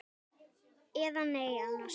Eða nei annars.